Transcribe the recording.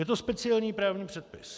Je to speciální právní předpis.